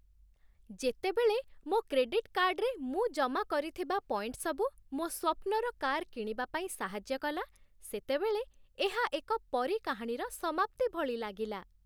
ଯେତେବେଳେ ମୋ କ୍ରେଡିଟ୍ କାର୍ଡରେ ମୁଁ ଜମା କରିଥିବା ପଏଣ୍ଟସବୁ ମୋ ସ୍ୱପ୍ନର କାର୍ କିଣିବା ପାଇଁ ସାହାଯ୍ୟ କଲା, ସେତେବେଳେ ଏହା ଏକ ପରୀ କାହାଣୀର ସମାପ୍ତି ଭଳି ଲାଗିଲା